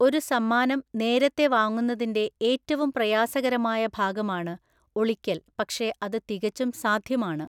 ഒരു സമ്മാനം നേരത്തെ വാങ്ങുന്നതിന്റെ ഏറ്റവും പ്രയാസകരമായ ഭാഗമാണ് ഒളിക്കല്‍ പക്ഷേ അത് തികച്ചും സാധ്യമാണ്.